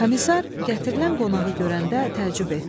Komissar gətirilən qonağı görəndə təəccüb etdi.